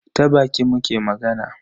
Ta baki muke magana.